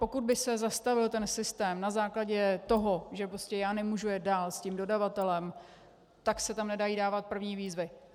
Pokud by se zastavil ten systém na základě toho, že prostě já nemůžu jet dál s tím dodavatelem, tak se tam nedají dávat první výzvy.